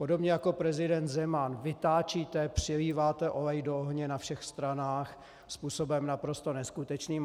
Podobně jako prezident Zeman vytáčíte, přiléváte olej do ohně na všech stranách způsobem naprosto neskutečným.